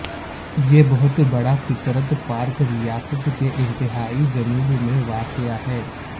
یہ بہت بڑا فطرت پارک ریاست کے انتہائی جنوب میں واقع ہے